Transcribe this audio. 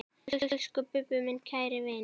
Elsku Bubbi, minn kæri vinur.